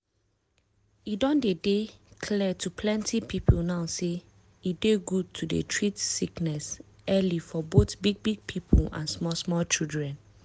e don dey dey clear to plenty people now say e dey good to dey treat sickness early for both big big people and small small children.